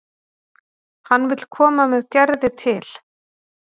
Hann vill koma með Gerði til